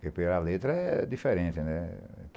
Porque a letra é diferente, né?